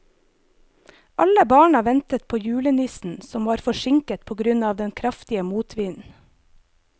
Alle barna ventet på julenissen, som var forsinket på grunn av den kraftige motvinden.